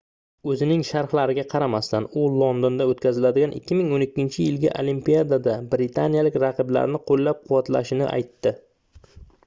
oʻzining sharhlariga qaramasdan u londonda oʻtkaziladigan 2012-yilgi olimpiadada britaniyalik raqiblarini qoʻllab-quvvatlashini aytdi